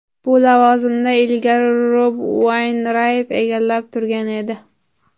Bu lavozimni ilgari Rob Ueynrayt egallab turgan edi.